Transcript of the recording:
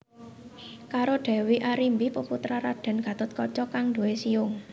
Karo Dewi Arimbi peputra Raden Gathotkaca kang duwé siung